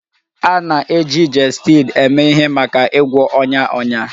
A na-eji Gestid eme ihe maka ịgwọ ọnya ọnya